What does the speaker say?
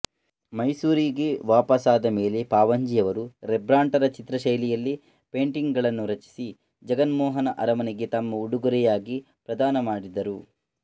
ಮೈಸೂರಿಗೆ ವಾಪಸ್ಸಾದಮೇಲೆ ಪಾವಂಜೆಯವರು ರೆಂಬ್ರಾಂಟರ ಚಿತ್ರಶೈಲಿಯಲ್ಲೇ ಪೇಂಟಿಂಗ್ ಗಳನ್ನು ರಚಿಸಿ ಜಗನ್ಮೋಹನ ಅರಮನೆಗೆ ತಮ್ಮ ಉಡುಗೊರೆಯಾಗಿ ಪ್ರದಾನಮಾಡಿದರು